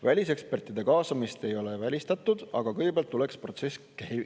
Välisekspertide kaasamist ei ole välistatud, aga kõigepealt tuleks protsess käivitada.